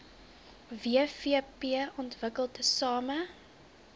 wvp ontwikkel tesame